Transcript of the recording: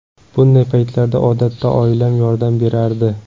Bunday paytlarda odatda oilam yordam berardi.